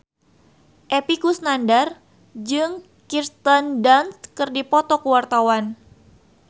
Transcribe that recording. Epy Kusnandar jeung Kirsten Dunst keur dipoto ku wartawan